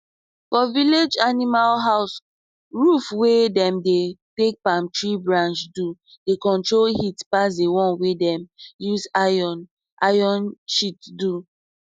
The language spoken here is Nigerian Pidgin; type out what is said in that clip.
for village animal house roof wey dem take palm tree branch do dey control heat pass di one wey dem use iron iron sheet do